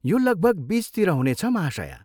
यो लगभग बिचतिर हुनेछ, महाशया।